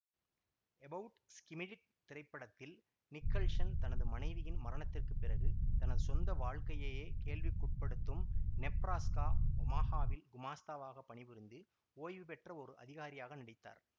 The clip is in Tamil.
எபவுட் ஸ்கிமிடிட் திரைப்படத்தில் நிக்கல்சன் தனது மனைவியின் மரணத்திற்கு பிறகு தனது சொந்த வாழ்க்கையையே கேள்விக்குட்படுத்தும் நெப்ராஸ்கா ஒமாஹாவில் குமாஸ்தாவாக பணிபுரிந்து ஓய்வுபெற்ற ஒரு அதிகாரியாக நடித்தார்